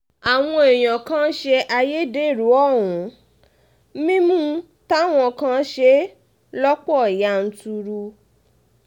àwọn èèyàn kan ń ṣe ayédèrú ohun mímu táwọn kan ṣe lọ́pọ̀ yanturu